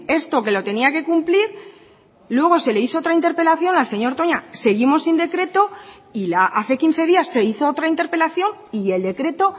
esto que lo tenía que cumplir luego se le hizo otra interpelación al señor toña seguimos sin decreto y la hace quince días se hizo otra interpelación y el decreto